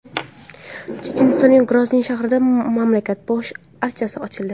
Chechenistonning Grozniy shahrida mamlakat bosh archasi ochildi.